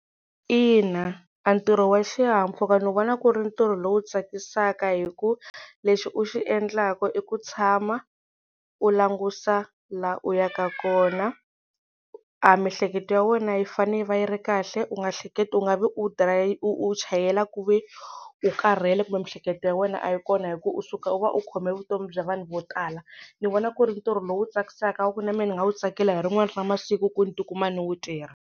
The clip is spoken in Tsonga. Ina a ntirho wa xihahampfhuka ni vona ku ri ntirho lowu tsakisaka hi ku lexi u xi endlaka i ku tshama u langusa laha u yaka kona a miehleketo ya wena yi fanele yi va yi ri kahle u nga hleketi u nga vi u u chayela ku ve u karhele kumbe miehleketo ya wena a yi kona hi ku u suka u va u khome vutomi bya vanhu vo tala ni vona ku ri ntirho lowu tsakisaka ku na mehe ni nga wu tsakela hi rin'wana ra masiku ku ni tikuma ni wu tirha.